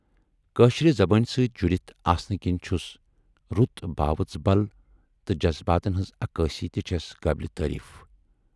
کٲشرِ زبٲنۍ سۭتۍ جُڑِتھ آسنہٕ کِنۍ چھُس رُت باؤژ بَل تہٕ جذباتن ہٕنز عکٲسی تہِ چھَس قٲبلِ تٲریٖف۔